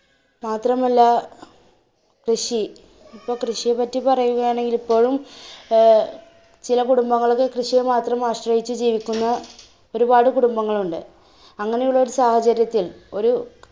മാത്രമല്ല, കൃഷി ഇപ്പൊ കൃഷിയെ പറ്റി പറയുകയാണെങ്കിൽ ഇപ്പോഴും അഹ് ചില കുടുംബങ്ങൾ ഒക്കെ കൃഷിയെ മാത്രം ആശ്രയിച്ചു ജീവിക്കുന്ന ഒരുപാട് കുടുംബങ്ങളുണ്ട്. അങ്ങനെ ഉള്ള ഒരു സാഹചര്യത്തിൽ ഒരു